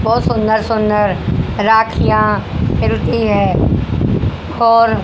बहुत सुंदर सुंदर राखियां मिलती हैं खौर--